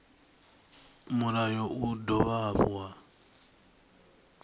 mulayo u dovha hafhu wa